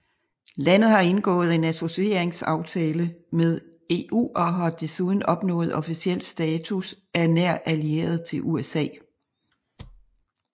Landet har indgået en associeringsaftale med EU og har desuden opnået officiel status af nær allieret til USA